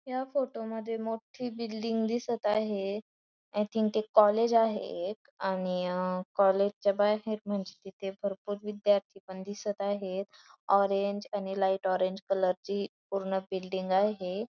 या फोटो मध्ये मोठी बिल्डिंग दिसत आहे आय थिंक ते कॉलेज आहे एक आणि कॅलेज च्या बाहेर म्हणजे तिथ भरपूर विध्यार्थी पण दिसत आहेत ऑरेंज आणि लाइट ऑरेंज कलर ची पूर्ण बिल्डिंग आहे.